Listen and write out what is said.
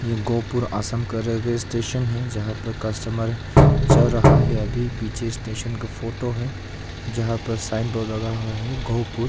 ये गोहपुर आसाम का railway station है जहां पर कस्टमर चल रहा है अभी पीछे स्टेशन का फोटो है जहां प साइन बोर्ड लगा हुआ हैं गोहपुर।